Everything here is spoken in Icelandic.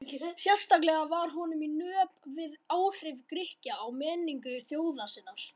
Sérstaklega var honum í nöp við áhrif Grikkja á menningu þjóðar sinnar.